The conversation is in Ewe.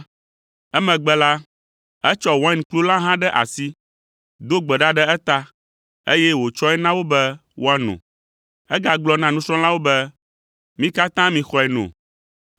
Emegbe la, etsɔ wainkplu la hã ɖe asi, do gbe ɖa ɖe eta, eye wòtsɔe na wo be woano. Egagblɔ na nusrɔ̃lawo be, “Mi katã mixɔe no,